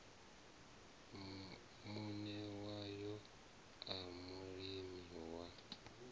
muṋe wayo a mulimi wa